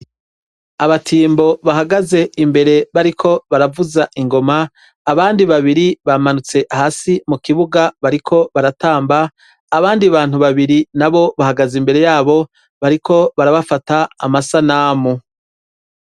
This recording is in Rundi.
Abatimbo bahagaze imbere bariko baravuza ingoma, abandi babiri bamanutse hasi mukibuga bariko baratamba, abandi bantu babiri nabo bahagaze imbere yabo bariko barabafata amasanamu.